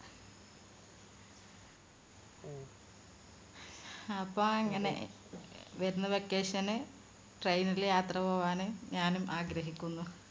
അങ്ങനെ വരുന്ന vacation ന് trai ൽ യാത്ര പോകാനും ഞാനും ആഗ്രഹിക്കുന്നു